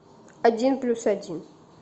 один плюс один